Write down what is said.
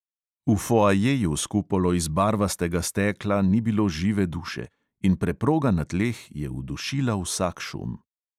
V foajeju s kupolo iz barvastega stekla ni bilo žive duše in preproga na tleh je udušila vsak šum.